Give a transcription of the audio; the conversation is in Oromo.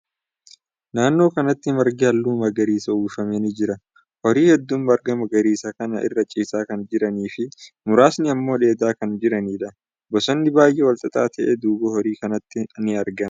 Naannoo kanatti margi haalluu magariisan uwwifame ni jira. Horii hedduun marga magariisa kana irra ciisaa kan jiranii fi muraasni immoo dheedaa kan jiraniidha. Bosonni baay'ee wal xaxaa ta'e duuba horii kanaatti ni argama.